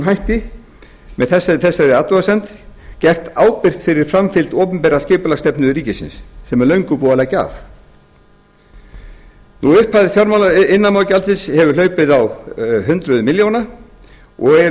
hætti með þessari athugasemd gert ábyrgt fyrir framfylgd opinberrar skipulagsstefnu ríkisins sem er löngu búið að leggja af upphæðir iðnaðarmálagjaldsins hefur hlaupið á hundruðum milljóna og eru í